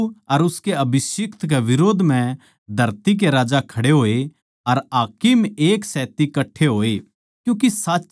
प्रभु अर उसके अभिषिक्‍त के बिरोध म्ह धरती के राजा खड़े होए अर हाकिम एकसेत्ती कट्ठे होए